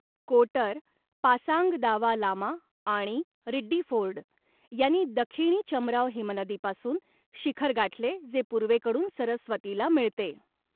कोटर, पासांग दावा लामा आणि रिड्डीफोर्ड यांनी दखिणी चमराव हिमनदीपासून शिखर गाठले, जे पूर्वेकडून सरस्वतीला मिळते.